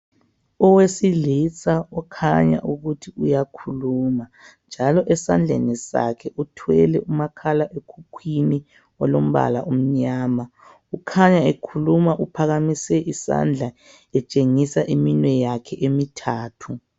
Owesilisa okhanya ukuthi uyakhuluma njalo esandleni sakhe uthwele umakhala ekhukhwini olombala omnyama kukhanya ekhuluma uphakamise isandla etshengisa iminwe yakhe emithathu.